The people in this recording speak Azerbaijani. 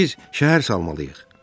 İndi biz şəhər salmalıyıq.